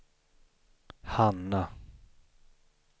Hanna